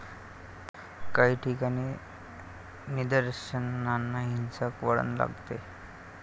काही ठिकाणी निदर्शनांना हिंसक वळण लागले.